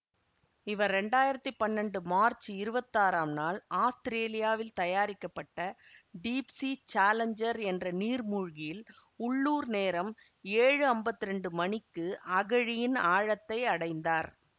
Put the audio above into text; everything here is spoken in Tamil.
இவர் இரண்டாயிரத்தி பன்னெண்டு மார்ச்சு இருவத்தாறாம் நாள் ஆஸ்திரேலியாவில் தயாரிக்கப்பட்ட டீப்சீ சாலஞ்சர் என்ற நீர்மூழ்கியில் உள்ளூர் நேரம் ஏழு அம்பத்தி இரண்டு மணிக்கு அகழியின் ஆழத்தை அடைந்தார்